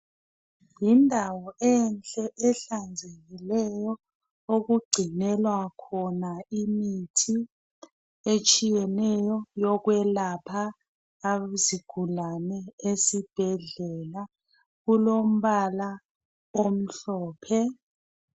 Yindawo enhle ehlanzekileyo okugcinelwa khona imithi etshiyeneyo yokwelapha izigulane esibhedlela. Kulombala omhlophe.